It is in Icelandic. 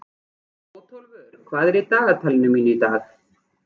Bótólfur, hvað er í dagatalinu mínu í dag?